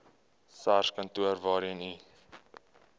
sarskantoor waarheen u